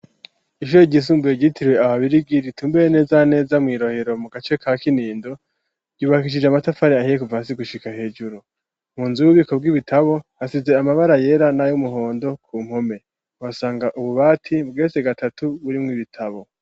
Ishuyo ryisumbuye gyitiriwe ahabirigi ritumbeye nezaneza mw'irohero mu gace ka kinindo ryubakishije amatafari ahiyekuvasi gushika hejuru mu nzu ububiko bw'ibitabo hasize amabara yera nayo umuhondo ku mpome basanga ububati bwese gatatu burimwo ibitabo.